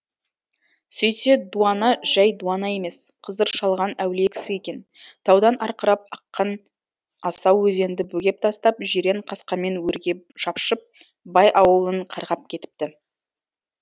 сөйтсе дуана жай дуана емес қызыр шалған әулие кісі екен таудан арқырап аққан асау өзенді бөгеп тастап жирен қасқамен өрге шапшып бай ауылын қарғап кетіпті